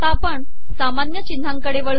आता आपण सामानय िचनहाकडे वळू